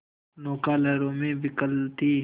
नौका लहरों में विकल थी